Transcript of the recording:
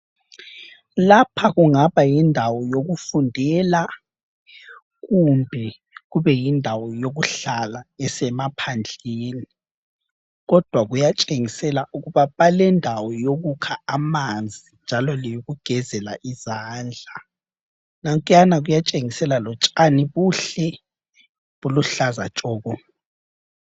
Lapha kungaba yindawo yokufundela kumbe kube yindawo yokuhlala esemaphandleni, kodwa kuyatshengisela ukuba balendawo yokukha amanzi njalo leyokugezela izandla. Nankuyana kuyatshengisela lotshani kuhle kuluhlaza tshoko.